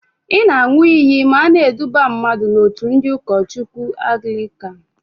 A na-an̄ụ iyi ma a na-eduba mmadụ n'òtù ndị ụkọchukwu Angịkan.